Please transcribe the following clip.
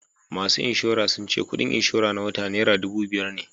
Masu inshora sun ce kudin inshora na wata naira dubu biyar ne